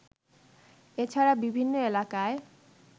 এছাড়া বিভিন্ন এলাকায়